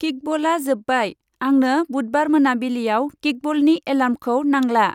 किकबला जोबबाय, आंनो बुधबार मोनाबिलियाव किकबलनि एलार्मखौ नांला ।